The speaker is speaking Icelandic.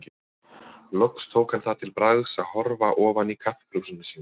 Loks tók hann það til bragðs að horfa ofan í kaffikrúsina sína.